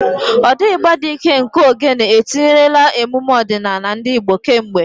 Ụda igba dị ike nke Ogene etinyerela emume ọdịnala ndị Igbo kemgbe.